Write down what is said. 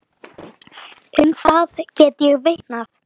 Um það get ég vitnað.